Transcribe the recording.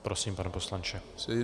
Prosím, pane poslanče.